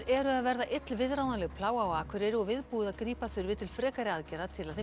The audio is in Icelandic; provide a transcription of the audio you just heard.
eru að verða illviðráðanleg plága á Akureyri og viðbúið að grípa þurfi til frekari aðgerða til að